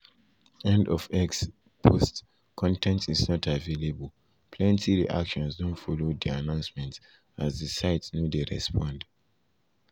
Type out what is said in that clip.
end of x post con ten t is not available plenty reactions don follow di announcement as di site no dey respond.